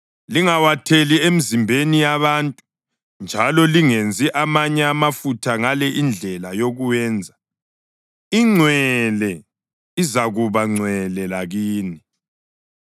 Lingawatheli emizimbeni yabantu, njalo lingenzi amanye amafutha ngale indlela yokuwenza. Ingcwele, izakuba ngcwele lakini.